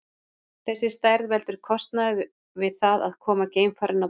Þessi stærð veldur kostnaði við það að koma geimfarinu á braut.